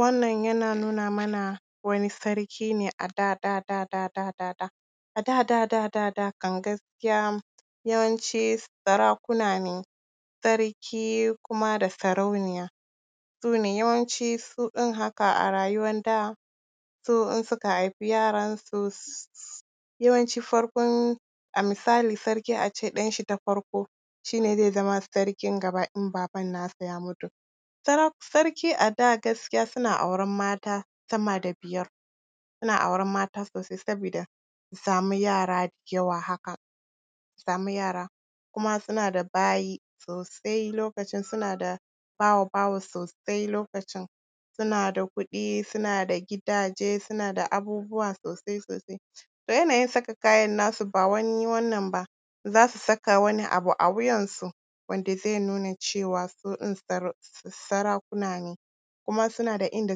Wannan yana nuna mana wani sarki ne a da da da da da da da. A da da da da da kam gaskiya yawanci sarakuna ne, sarki da kuma sarauniya, su ne yawanci su ɗin haka a rayuwan da, su in suka haifi yaransu… yawanci farkon, a misali a ce sarki ɗan shi ta farko shi ne zai sama sarkin gaba in baban nasa ya mutu. Sarki a da gaskiya suna auren mata sama da biyar, suna auren mata sosai sabida su samu yara da yawa haka, su samu yara kuma suna da bayi sosai, lokacin suna da bawa-bawa sosai lokacin, suna da kuɗi, suna da gidaje, suna da abubuwa sosai sosai. To yanayin saka kayan nasu ba wani wannan ba. Za su saka wani abu a wuyansu wanda zai nuna cewa su ɗin sarakuna ne, kuma suna da inda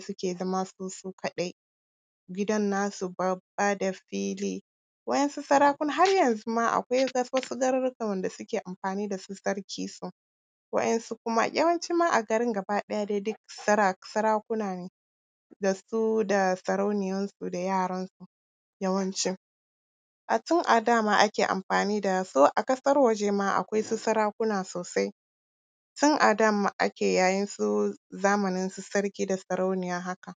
suke zama su, su kaɗai, gidan nasu babba da fili. Waɗansu sarakunan har yanzu ma akwai wasu garurrukan wanda suke amfani da su sarkinsu, waɗansu kuma… yawanci ma a garin gaba ɗaya dai duk sarakuna ne da su da sarauniyansu da yaransu yawanci. A tun a da ma ake amfani da su a ƙasar waje ma akwai su sarakunan sosai tun a da ma ake yayin su zamaninsu sarki da sarauniya haka.